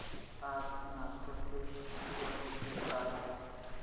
आज नालको चे शेअर मूल्य काय आहे